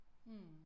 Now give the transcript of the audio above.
Mh